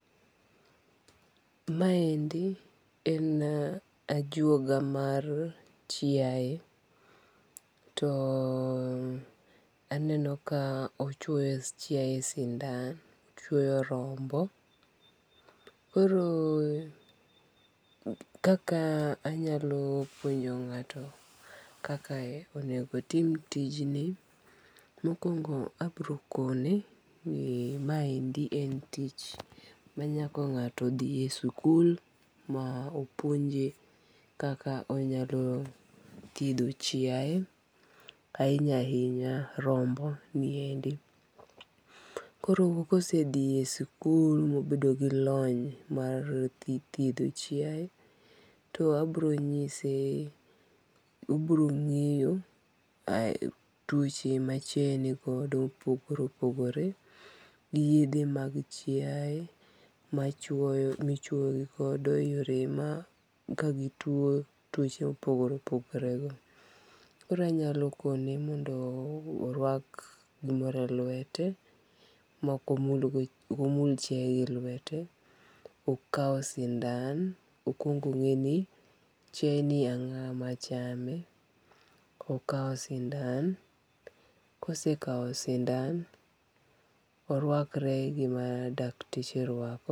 Maendi en ajuoga mar chiaye, to aneno ka ochuoyo chiaye sindan, ochuoyo rombo, koro kaka anyalo puonjo nga'to kaka onego tim tijni, mokuongo' abiro kone ni maendi en tich ma nyaka nga'to thie sikul ma opuonje kaka onyalo thietho chiaye ahinya hinya romboniendi, koro kosethie sikul ma obedo gi lony mar thietho chiaye, to abironyise oboronge'yo twoche ma chiaye nigodo ma opogore opogore gi yethe mag chiaye machuyo michuoyo yore ma kagitwo twoche ma opogore opogore, koro anyalo kone mondo orwak gimoro e lwete moko omul chiaye gi lwete, okawo sindan okuongo' onge'ni chiayeni en ango' machame akawo sindan, ka osekawo sindan oruakre gima dakteche rwako.